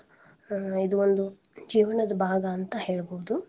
ಅಹ್ ಇದೊಂದು ಜೀವನ್ದ ಭಾಗ ಅಂತ ಹೇಳ್ಬೋದು.